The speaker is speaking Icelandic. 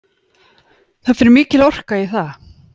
Það fer mikil orka í það